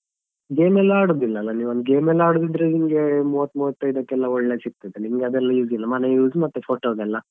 Game ಎಲ್ಲ ಆಡುದಿಲ್ಲಲ್ಲ ನೀವು game ಎಲ್ಲ ಆಡುದಿದ್ರೆ ನಿಮ್ಗೆ ಮೂವತ್ತು ಮೂವತ್ತೈದಕ್ಕೆಲ್ಲ ಒಳ್ಳೇದು ಸಿಗ್ತದೆ ನಿಮ್ಗೆ ಅದೆಲ್ಲ use ಇಲ್ಲ ಮನೆ use ಮತ್ತೆ photo ದೆಲ್ಲಾ.